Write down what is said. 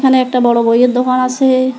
এখানে একটা বড়ো বইয়ের দোকান আছে।